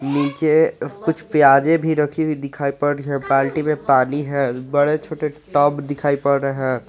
नीचे कुछ प्याजे भी रखी हुई दिखाई पड़ रही हैं बाल्टी में पानी है बड़े छोटे टब दिखाई पड़ रहे हैं।